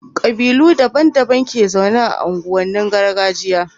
kabilu daban daban ke zaune a unguwanin gargajiya